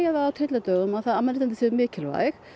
það á tyllidögum að mannréttindi séu mikilvæg